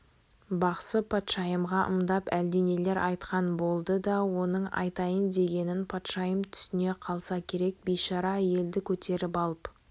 бақсы патшайымға ымдап әлденелер айтқан болды да оның айтайын дегенін патшайым түсіне қалса керек бейшара әйелді көтеріп алып